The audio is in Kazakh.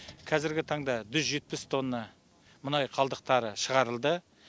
қазіргі таңда жүз жетпіс тонна мұнай қалдықтары шығарылды